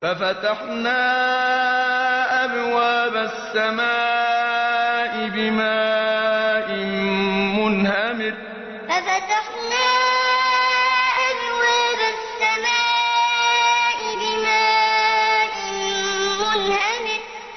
فَفَتَحْنَا أَبْوَابَ السَّمَاءِ بِمَاءٍ مُّنْهَمِرٍ فَفَتَحْنَا أَبْوَابَ السَّمَاءِ بِمَاءٍ مُّنْهَمِرٍ